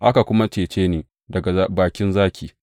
Aka kuma cece ni daga bakin zaki.